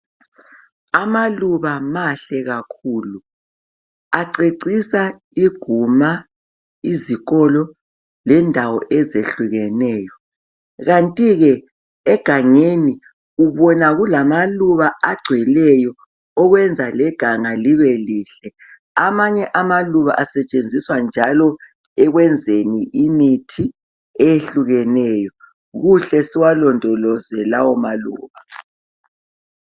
Amaluba mahle kakhulu. Acecisa iguma, izikolo lendawo ezehlukeneyo. Kanti ke egangeni ubona kulamaluba agcweleyo okwenza leganga libelihle. Amanye amaluba asetshenziswa njalo ekwenzeni imithi eyehlukeneyo, kuhle siwalondoloze lawo maluba.